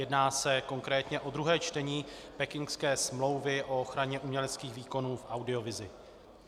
Jedná se konkrétně o druhé čtení Pekingské smlouvy o ochraně uměleckých výkonů v audiovizi.